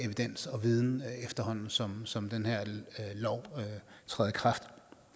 evidens og viden efterhånden som som den her lov træder i kraft